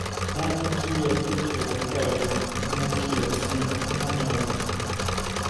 wọn ní kílẹẹjọ jọwọ jàre kí wọn kìlọ fún un kó má dán an wò